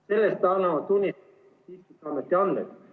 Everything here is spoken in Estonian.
Sellest annavad tunnistust Statistikaameti andmed.